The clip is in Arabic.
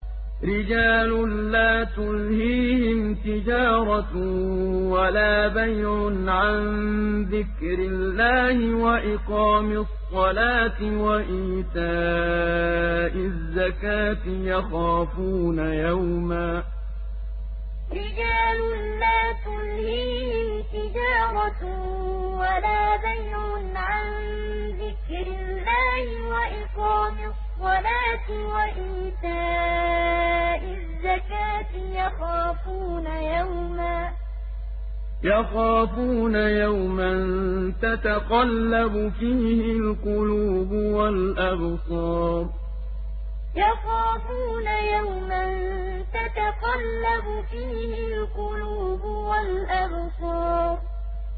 رِجَالٌ لَّا تُلْهِيهِمْ تِجَارَةٌ وَلَا بَيْعٌ عَن ذِكْرِ اللَّهِ وَإِقَامِ الصَّلَاةِ وَإِيتَاءِ الزَّكَاةِ ۙ يَخَافُونَ يَوْمًا تَتَقَلَّبُ فِيهِ الْقُلُوبُ وَالْأَبْصَارُ رِجَالٌ لَّا تُلْهِيهِمْ تِجَارَةٌ وَلَا بَيْعٌ عَن ذِكْرِ اللَّهِ وَإِقَامِ الصَّلَاةِ وَإِيتَاءِ الزَّكَاةِ ۙ يَخَافُونَ يَوْمًا تَتَقَلَّبُ فِيهِ الْقُلُوبُ وَالْأَبْصَارُ